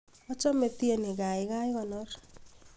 achome tieni gaigai konor